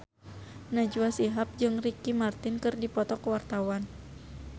Najwa Shihab jeung Ricky Martin keur dipoto ku wartawan